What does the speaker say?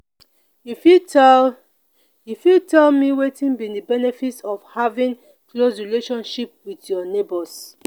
you fit tell you fit tell me wetin be di benefits of having close relationship with your neighbors?